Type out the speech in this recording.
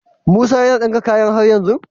Musa yAna dinka kayan har yanzu?